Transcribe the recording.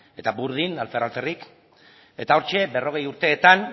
eta burdin alfer alferrik eta hortxe berrogei urteetan